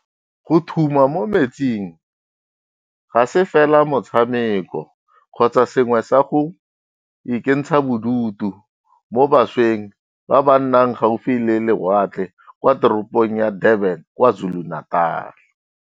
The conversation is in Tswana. Go thuma mo metsing ga se fela motshameko kgotsa sengwe sa go ikentsha bodutu mo bašweng ba ba nnang gaufi le lewatle kwa teropong ya Durban kwa KwaZulu-Natal.